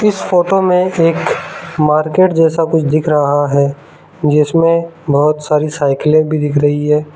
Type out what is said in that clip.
इस फोटो में एक मार्केट जैसा कुछ दिख रहा है जिसमें बहोत सारी साइकिलें भी दिख रही है।